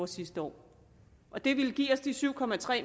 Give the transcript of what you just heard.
sidste år det ville give os de syv